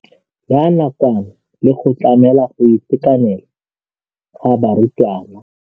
ya nakwana le go tlamela go itekanela ga barutwana.